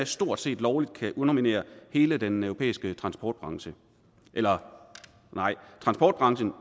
stort set lovligt kan underminere hele den europæiske transportbranche eller rettere transportbranchen